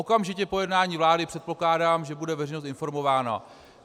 Okamžitě po jednání vlády předpokládám, že bude veřejnost informována.